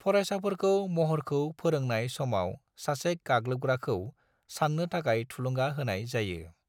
फरायसाफोरखौ महरखौ फोरोंनाय समाव सासे गाग्लोबग्राखौ साननो थाखाय थुलुंगा होनाय जायो।